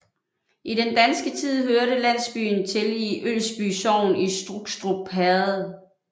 I den danske tid hørte landsbyen til i Ølsby Sogn i Strukstrup Herred